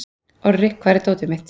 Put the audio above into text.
Orri, hvar er dótið mitt?